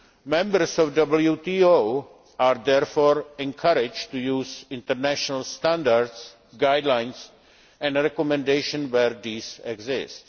Members of the WTO are therefore encouraged to use international standards, guidelines and recommendations where these exist.